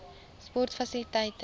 sportfasiliteite